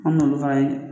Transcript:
An m'olu fana ye